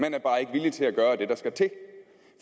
villig til at gøre det der skal til